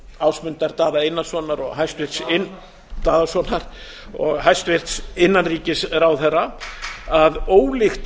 ásmundar daða einarssonar og hæstvirtur daðasonar daðasonar og hæstvirtur innanríkisráðherra að ólíkt